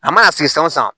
A mana sigi san wo san